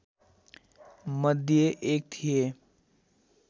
मध्ये एक थिए